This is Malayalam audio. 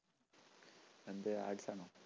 എന്ത് arts ആണോ?